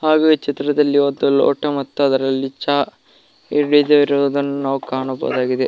ಹಾಗು ಈ ಚಿತ್ರದಲ್ಲಿ ಒಂದು ಲೋಟ ಮತ್ತು ಅದರಲ್ಲಿ ಚ ಹಿಡಿದಿರುವುದನ್ನು ನಾವು ಕಾಣಬಹುದಾಗಿದೆ.